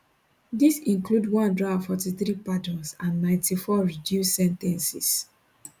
dis include 143 pardons and 94 reduced sen ten ces